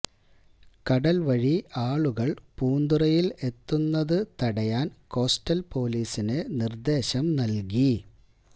കടൽ വഴി ആളുകൾ പൂന്തുറയിൽ എത്തുന്നത് തടയാൻ കോസ്റ്റൽ പൊലീസിന് നിർദേശം നൽകി